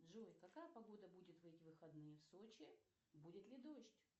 джой какая погода будет в эти выходные в сочи будет ли дождь